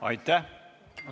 Aitäh!